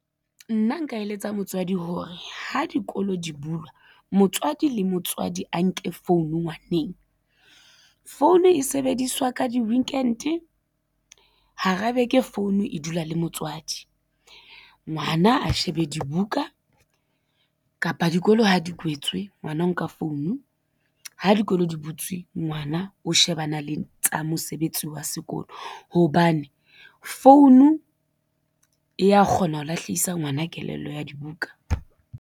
Nna nka eletsa motswadi hore ha dikolo di bulwa, motswadi le motswadi a nke founu ngwaneng. Phone e sebediswa ka di-weekend hara beke phone e dula le motswadi, ngwana a shebe dibuka kapa dikolo ha di kwetswe ngwana o nka phone, ha dikolo di butswe ngwana o shebana le tsa mosebetsi wa sekolo, hobane phone e ya kgona ho lahlisa ngwana kelello ya dibuka.